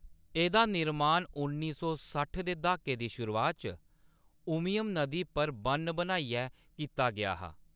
एह्‌‌‌दा निर्माण उन्नी सौ सट्ठ दे द्हाके दी शुरुआत च उमियम नदी पर बʼन्न बनाइयै कीता गेआ हा।